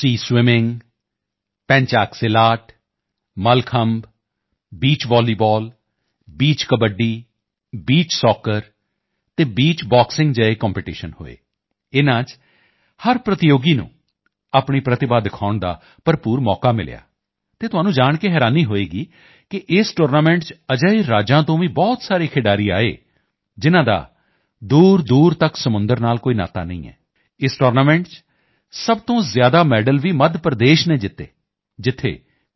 swimming pencak silat mallakhamb beach volleyball beach kabaddi beach soccer ਅਤੇ beach boxing ਜਿਹੇ competition ਹੋਏ ਇਨ੍ਹਾਂ ਚ ਹਰ ਪ੍ਰਤੀਯੋਗੀ ਨੂੰ ਆਪਣੀ ਪ੍ਰਤਿਭਾ ਦਿਖਾਉਣ ਦਾ ਭਰਪੂਰ ਮੌਕਾ ਮਿਲਿਆ ਅਤੇ ਤੁਹਾਨੂੰ ਜਾਣ ਕੇ ਹੈਰਾਨੀ ਹੋਵੇਗੀ ਕਿ ਇਸ ਟੂਰਨਾਮੈਂਟ ਚ ਅਜਿਹੇ ਰਾਜਾਂ ਤੋਂ ਵੀ ਬਹੁਤ ਸਾਰੇ ਖਿਡਾਰੀ ਆਏ ਜਿਨ੍ਹਾਂ ਦਾ ਦੂਰਦੂਰ ਤੱਕ ਸਮੁੰਦਰ ਨਾਲ ਕੋਈ ਨਾਤਾ ਨਹੀਂ ਹੈ ਇਸ ਟੂਰਨਾਮੈਂਟ ਚ ਸਭ ਤੋਂ ਜ਼ਿਆਦਾ ਮੈਡਲ ਵੀ ਮੱਧ ਪ੍ਰਦੇਸ਼ ਨੇ ਜਿੱਤੇ ਜਿੱਥੇ ਕੋਈ ਸੀ